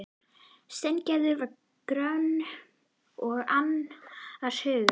Steingerður var gröm og annars hugar.